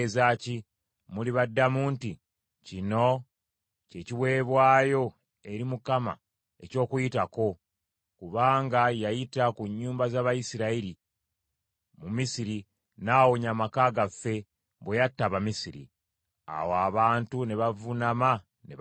Mulibaddamu nti, ‘Kino kye kiweebwayo eri Mukama eky’Okuyitako, kubanga yayita ku nnyumba z’Abayisirayiri mu Misiri, n’awonya amaka gaffe, bwe yatta Abamisiri.’ ” Awo abantu ne bavuunama ne basinza.